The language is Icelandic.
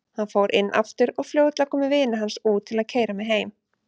Hann fór inn aftur og fljótlega komu vinir hans út til að keyra mig heim.